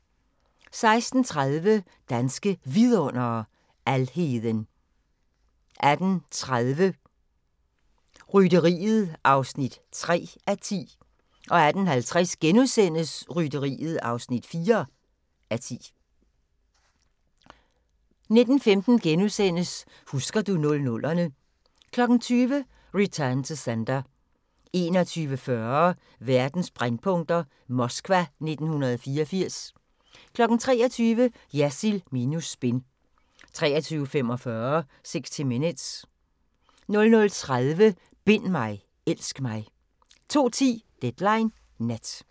16:30: Danske Vidundere: Alheden 18:30: Rytteriet (3:10) 18:50: Rytteriet (4:10)* 19:15: Husker du 00'erne * 20:00: Return to Sender 21:40: Verdens brændpunkter: Moskva 1984 23:00: Jersild minus spin 23:45: 60 Minutes 00:30: Bind mig, elsk mig! 02:10: Deadline Nat